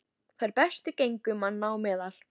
Þær bestu gengu manna á meðal.